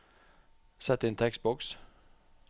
Sett inn tekstboks